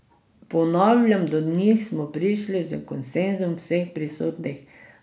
Ponavljam, do njih smo prišli s konsenzom vseh prisotnih!